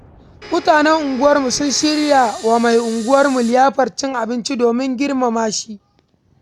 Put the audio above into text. Mutanen unguwarmu sun shirya wa mai unguwarmu liyafar cin abinci domin girmama shi.